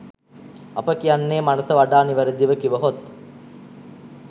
අප කියන්නේ මනස වඩා නිවැරදිව කිවහොත්